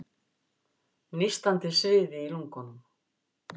Nístandi sviði í lungunum.